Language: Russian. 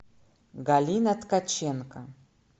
галина ткаченко